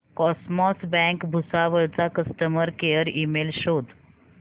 cosmos bank Bhusawal चा customer care email शोध